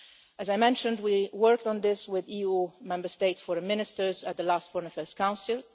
As I mentioned, we worked on this with EU Member States' Foreign Ministers at the last Foreign Affairs Council.